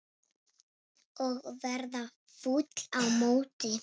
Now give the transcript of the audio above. Og verða fúll á móti!